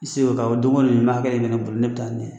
I se oo, awɔ don ko don nin b'a kɛ ne yɛrɛ bolo ne bɛ taa na ye.